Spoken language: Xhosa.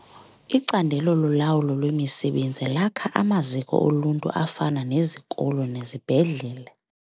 Icandelo lolawulo lwemisebenzi lakha amaziko oluntu afana nezikolo nezibhedlele.